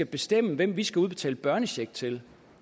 bestemme hvem vi skal udbetale børnecheck til